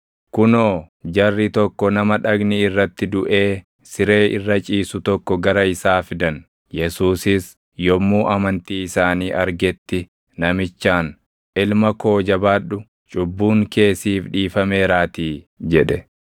Kunoo, jarri tokko nama dhagni irratti duʼee siree irra ciisu tokko gara isaa fidan. Yesuusis yommuu amantii isaanii argetti namichaan, “Ilma koo jabaadhu; cubbuun kee siif dhiifameeraatii” jedhe.